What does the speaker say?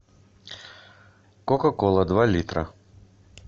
кока кола два литра